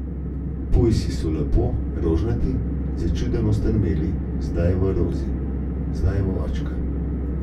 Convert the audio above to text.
Pujsi so lepo rožnati začudeno strmeli zdaj v Rozi, zdaj v očka.